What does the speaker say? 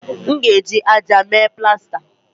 M ga-eji ájá mee plasta